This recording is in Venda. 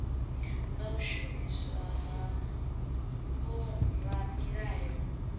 nga u shumiswa ha vhoramilayo